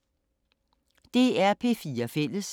DR P4 Fælles